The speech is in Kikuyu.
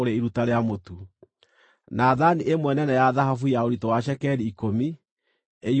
na thaani ĩmwe nene ya thahabu ya ũritũ wa cekeri ikũmi, ĩiyũrĩtio ũbumba;